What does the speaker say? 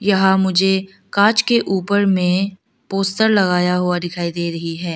यहां मुझे कांच के ऊपर में पोस्टर लगाया हुआ दिखाई दे रही है।